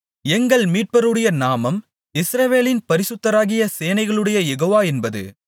எங்கள் மீட்பருடைய நாமம் இஸ்ரவேலின் பரிசுத்தராகிய சேனைகளுடைய யெகோவா என்பது